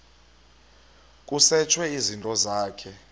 kusetshwe izinto zakho